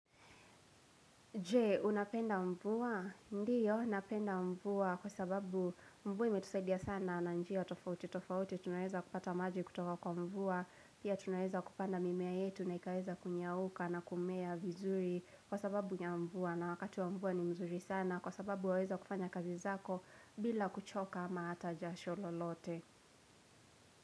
Je, unapenda mvua? Ndiyo, napenda mvua kwa sababu mvua imetusaidia sana na njia tofauti tofauti tunaweza kupata maji kutoka kwa mvua. Pia tunaweza kupanda mimea yetu na ikaweza kunyauka na kumea vizuri kwa sababu nya mvua. Na wakati wa mvua ni mzuri sana kwa sababu waweza kufanya kazi zako bila kuchoka ama hata jasho lolote.